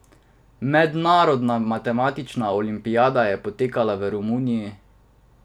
Mednarodna matematična olimpijada je potekala v Romuniji.